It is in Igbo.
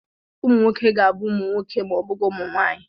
Ụmụ nwoke ga-abụ nwoke ma ọ bụghị ụmụ nwaanyị.